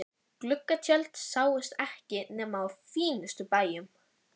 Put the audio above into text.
Gluggatjöld sáust ekki nema á fínustu bæjum.